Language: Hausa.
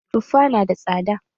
Tuffa ya na da tsada.